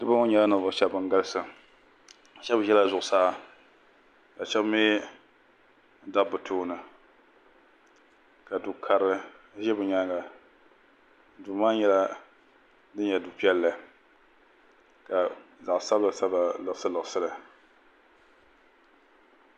Niriba ŋɔ nyɛla ninvuɣushɛba ban galisi shɛba ʒela zuɣusaa ka shɛba mi dabi bɛ tooni ka du'karili ʒe bɛ nyaaŋa duu maa nyɛla din nyɛ du'piɛlli ka zaɣ'sabila sabila liɣisi liɣisi li.